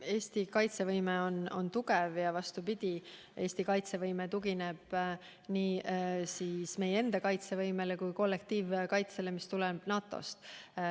Eesti kaitsevõime on tugev ning tugineb nii meie enda kaitsevõimele kui ka kollektiivkaitsele, mis tuleb NATO-st.